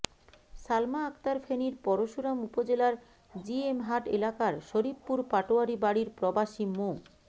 সালমা আক্তার ফেনীর পরশুরাম উপজেলার জিএমহাট এলাকার শরিফপুর পাটোয়ারী বাড়ির প্রবাসী মো